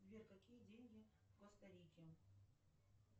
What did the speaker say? сбер какие деньги в коста рике